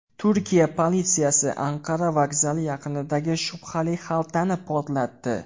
Turkiya politsiyasi Anqara vokzali yaqinidagi shubhali xaltani portlatdi.